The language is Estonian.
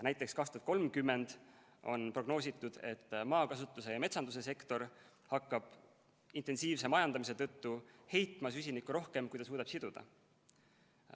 Näiteks, aastaks 2030 on prognoositud, et maakasutuse ja metsanduse sektor hakkab intensiivse majandamise tõttu heitma süsinikku rohkem, kui ta suudab siduda.